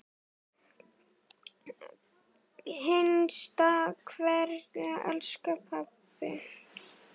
HINSTA KVEÐJA Elsku pabbi.